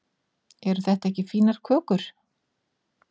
eru þetta ekki fínar kökur